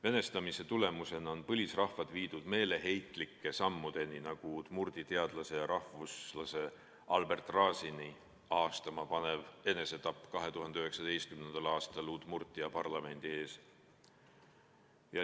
Venestamise tulemusena on põlisrahvad viidud meeleheitlike sammudeni, nagu udmurdi teadlase ja rahvuslase Albert Razini ahastama panev enesetapp 2019. aastal Udmurtia parlamendi ees.